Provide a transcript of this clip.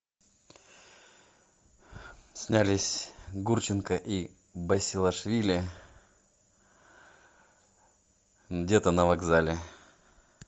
снялись гурченко и басилашвили где то на вокзале